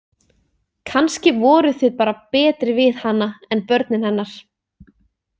Kannski voruð þið bara betri við hana en börnin hennar.